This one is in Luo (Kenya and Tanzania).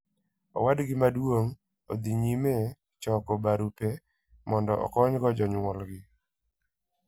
Owadgi maduong' dhi nyime choko barupe mondo okonygo jonyuolgi.